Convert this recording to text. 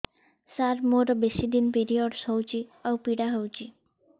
ସାର ମୋର ବେଶୀ ଦିନ ପିରୀଅଡ଼ସ ହଉଚି ଆଉ ପୀଡା ହଉଚି